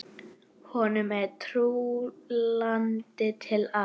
Honum er trúandi til alls.